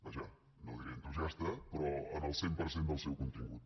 vaja no diré entusiasta però en el cent per cent del seu contingut